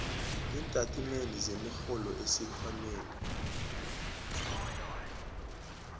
iintatimende zemirholo esikhwameni